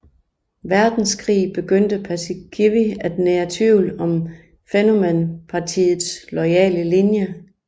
Verdenskrig begyndte Paasikivi at nære tvivl om Fennoman Partiets loyale linje